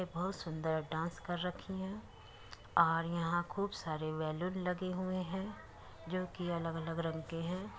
ये बहुत सुंदर डांस कर रखी है और यहाँ खूब सारे बैलून लगे हुए है। जो कि अलग अलग रंग के है।